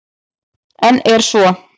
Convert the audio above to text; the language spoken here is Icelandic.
En er svo?